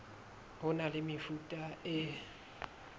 ho na le mefuta e